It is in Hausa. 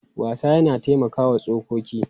Wasa yana taimakawa tsokoki.